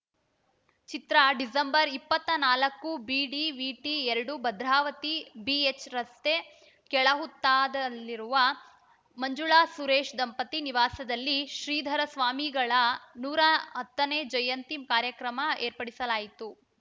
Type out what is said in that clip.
ಚಿತ್ರ December ಇಪ್ಪತ್ತಾ ನಾಲ್ಕು ಬಿಡಿವಿಟಿ ಎರಡು ಭದ್ರಾವತಿ ಬಿಎಚ್‌ ರಸ್ತೆ ಕೆಳಹುತ್ತಾದಲ್ಲಿರುವ ಮಂಜುಳಾಸುರೇಶ ದಂಪತಿ ನಿವಾಸದಲ್ಲಿ ಶ್ರೀಧರಸ್ವಾಮಿಗಳ ನೂರ ಹತ್ತನೇ ಜಯಂತಿ ಕಾರ್ಯಕ್ರಮ ಏರ್ಪಡಿಸಲಾಯಿತು